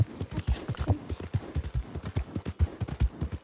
Elsku Gummi.